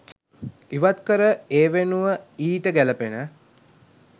ඉවත්කර එවෙනුව ඊට ගැලපෙන